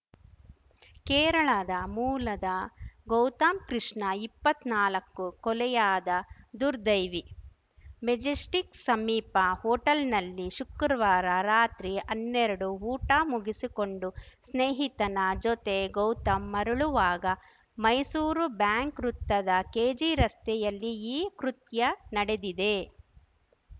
ಕೇರಳದ ಮೂಲದ ಗೌತಮ್‌ ಕೃಷ್ಣ ಇಪ್ಪತ್ನಾಲಕ್ಕು ಕೊಲೆಯಾದ ದುರ್ದೈವಿ ಮೆಜೆಸ್ಟಿಕ್‌ ಸಮೀಪ ಹೋಟೆಲ್‌ನಲ್ಲಿ ಶುಕ್ರವಾರ ರಾತ್ರಿ ಅನ್ನೆರಡು ಊಟ ಮುಗಿಸಿಕೊಂಡು ಸ್ನೇಹಿತನ ಜೊತೆ ಗೌತಮ್‌ ಮರಳುವಾಗ ಮೈಸೂರು ಬ್ಯಾಂಕ್‌ ವೃತ್ತದ ಕೆಜಿರಸ್ತೆಯಲ್ಲಿ ಈ ಕೃತ್ಯ ನಡೆದಿದೆ